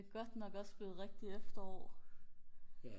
godt nok også blevet rigtigt efterår